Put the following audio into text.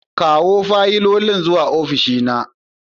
Kawo fayilolin zuwa ofishina.